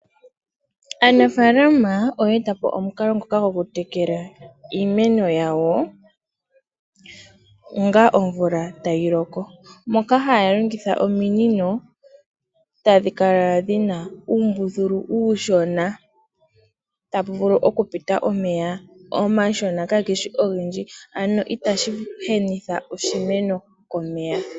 Aanafalama oye eta po omukalo ngoka gokutekela iimeno yawo onga omvula tayi loko. Moka haya longitha ominino tadhi kala dhi na uumbuthulu uushona tapu vulu okupita omeya omashona kaage shi ogendji, ano itashi henitha oshimeno komeya.